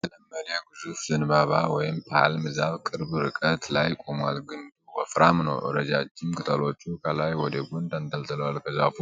ያልተለመደ ግዙፍ ዘንባባ (ፓልም) ዛፍ ቅርብ ርቀት ላይ ቆሟል። ግንዱ ወፍራም ነው። ረዣዥም ቅጠሎቹ ከላይ ወደ ጎን ተንጠልጥለዋል። ከዛፉ